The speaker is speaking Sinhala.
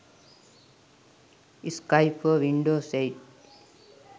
skype for windows 8